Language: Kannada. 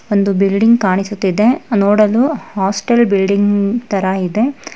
ಒಂದು ಬಿಲ್ಡಿಂಗ್ ಕಾಣಿಸುತ್ತಿದೆ ನೋಡಲು ಹಾಸ್ಟೆಲ್ ಬಿಲ್ಡಿಂಗ್ ತರಾ ಇದೆ.